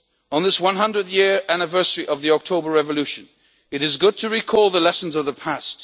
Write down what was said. On this, the 100th anniversary of the October Revolution, it is good to recall the lessons of the